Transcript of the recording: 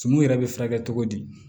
Tumu yɛrɛ bɛ furakɛ cogo di